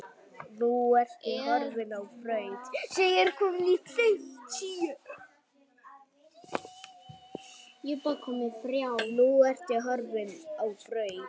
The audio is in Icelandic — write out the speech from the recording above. Nú ertu horfin á braut.